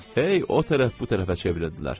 Hey o tərəf bu tərəfə çevrildilər.